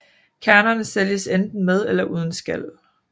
Kernerne sælges enten med eller uden skal